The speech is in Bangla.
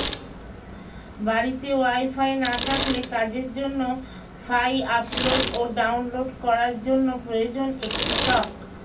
বাড়িতে ওয়াইফাই না থাকলে কাজের জন্য ফাই আপলোড ও ডাউনলোড করার জন্য প্রয়োজন একটি শক্